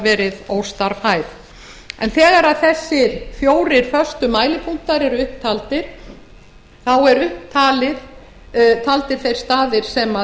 verið óstarfhæf þegar þessir fjórir föstu mælipunktar eru upp taldir eru komnir þeir staðir sem